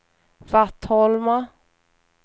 Vattholma